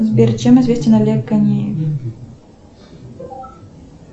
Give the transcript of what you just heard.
сбер чем известен олег конеев